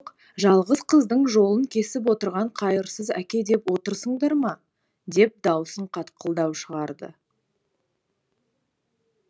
жалғыз қыздың жолын кесіп отырған қайырсыз әке деп отырсыңдар ма деп дауысын қатқылдау шығарды